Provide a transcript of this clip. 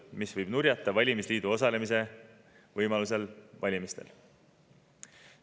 See võib valimisliidul nurjata võimaluse valimistel osaleda.